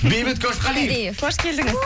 бейбіт көшқалиев қош келдіңіз